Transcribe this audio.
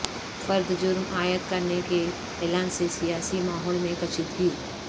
فرد جرم عائد کرنے کے اعلان سے سیاسی ماحول میں کشیدگی